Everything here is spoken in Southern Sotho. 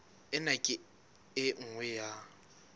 ena ke e nngwe ya